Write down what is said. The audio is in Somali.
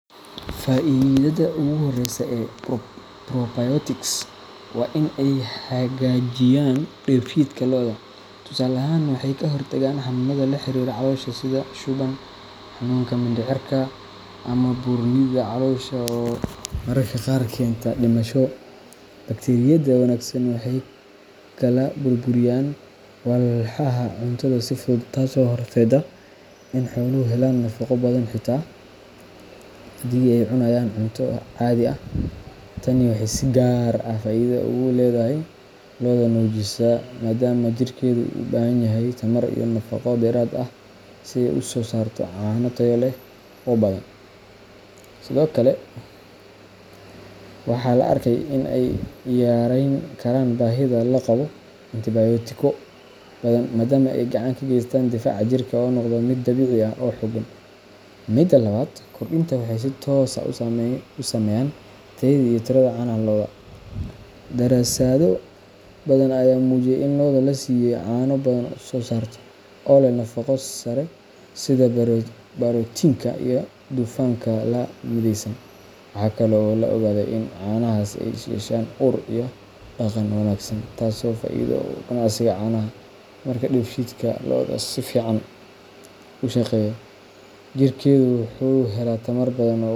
Faa’iidada ugu horreysa ee probiotics waa in ay hagaajiyaan dheefshiidka lo’da. Tusaale ahaan, waxay ka hortagaan xanuunnada la xiriira caloosha sida shuban, xanuunka mindhicirka, ama buurnida caloosha oo mararka qaar keenta dhimasho. Bakteeriyada wanaagsan waxay kala burburiyaan walxaha cuntada si fudud, taasoo horseedda in xooluhu helaan nafaqo badan xitaa haddii ay cunayaan cunto caadi ah. Tani waxay si gaar ah faa’iido ugu leedahay lo’da nuujisa, maadaama jirkeedu u baahan yahay tamar iyo nafaqo dheeraad ah si ay u soo saarto caano tayo leh oo badan. Sidoo kale, waxaa la arkay in ay yarayn karaan baahida loo qabo antibiyootiko badan, maadaama ay gacan ka geystaan difaaca jirka oo noqda mid dabiici ah oo xooggan. Midda labaad, kordhinta waxay si toos ah u saameeyaan tayada iyo tirada caanaha lo’da. Daraasado badan ayaa muujiyey in lo’da la siiyo ay caano badan soo saarto, oo leh nafaqo sare sida borotiinka iyo dufanka la midaysan. Waxaa kale oo la ogaadey in caanahaas ay yeeshaan ur iyo dhadhan wanaagsan, taasoo faa’iido u ah ganacsiga caanaha. Marka dheefshiidka lo’da si fiican u shaqeeyo, jirkeedu wuxuu helaa tamar badan oo u.